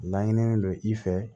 Laɲininen don i fɛ